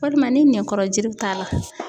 Walima ni nɛnkɔrɔ juru t'a la.